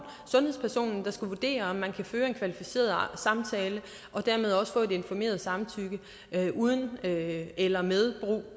sundhedspersonen der skal vurdere om man kan føre en kvalificeret samtale og dermed også få et informeret samtykke uden eller med brug